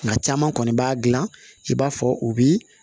Nka caman kɔni b'a gilan i b'a fɔ u bi